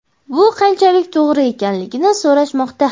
bu qanchalik to‘g‘ri ekanligini so‘rashmoqda.